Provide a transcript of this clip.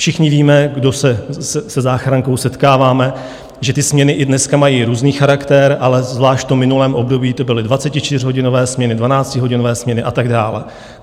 Všichni víme, kdo se se záchrankou setkáváme, že ty směny i dneska mají různý charakter, ale zvlášť v minulém období to byly 24hodinové směny, 12hodinové směny a tak dále.